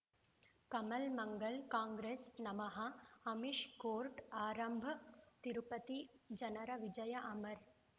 ಕಮಲ್ ಮಂಗಳ್ ಕಾಂಗ್ರೆಸ್ ನಮಃ ಅಮಿಷ್ ಕೋರ್ಟ್ ಆರಂಭ ತಿರುಪತಿ ಜನರ ವಿಜಯ ಅಮರ್